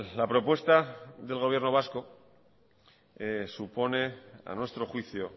la propuesta del gobierno vasco supone a nuestro juicio